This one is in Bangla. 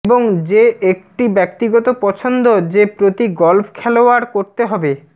এবং যে একটি ব্যক্তিগত পছন্দ যে প্রতি গল্ফ খেলোয়াড় করতে হবে